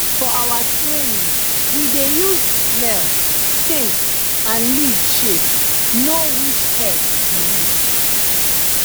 for our training we dey use smell taste and leaf shape know which herb be which